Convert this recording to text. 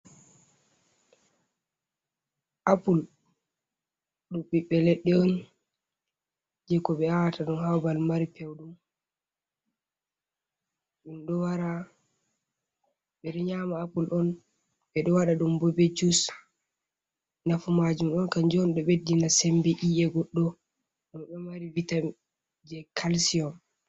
Apple ɗum ɓiɓɓe leɗɗe on jei ko ɓe aawata ɗum haa babal mari pewɗum, ɓedo nyama Apple on, ɓe ɗo waɗa ɗum bo be jus. Nafu maajum ɗon kanjon ɗo beddina sembe i’e goddo. Ɗum ɗo mari vitamin be calsium.